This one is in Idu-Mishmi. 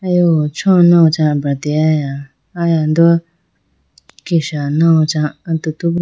cho nawo cha abrateyaya aya do kesha nawo cha atutu.